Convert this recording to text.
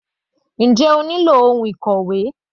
Njẹ́ o nílò ohun ìkòwé?